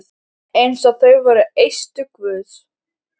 Eins og þau væru eistu guðs.